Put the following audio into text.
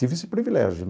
Tive esse privilégio.